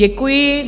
Děkuji.